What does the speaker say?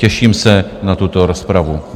Těším se na tuto rozpravu.